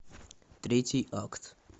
третий акт